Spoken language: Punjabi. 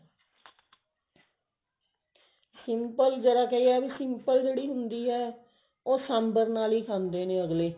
simple ਦਾ ਕੀ ਹੈ ਸਿਮਲੇ ਜਿਹੜੀ ਹੁੰਦੀ ਹੈ ਉਹ ਸਾਂਬਰ ਨਾਲ ਹੀ ਖਾਂਦੇ ਨੇ